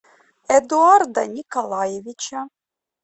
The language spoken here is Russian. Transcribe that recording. эдуарда николаевича